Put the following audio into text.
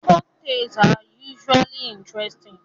Folktales are usually interesting